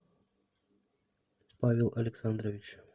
павел александрович